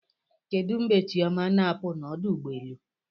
Kedu mgbe Chioma na-apụ n'ọdụ ụgbọelu?